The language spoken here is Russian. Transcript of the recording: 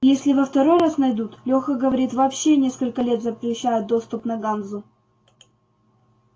если во второй раз найдут лёха говорит вообще несколько лет запрещают доступ на ганзу